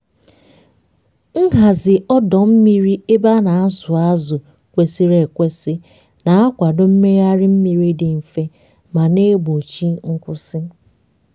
nhazi ọdọ mmiri ebe a na-azụ azụ kwesịrị ekwesị na-akwado mmegharị mmiri dị mfe ma na-egbochi nkwụsị.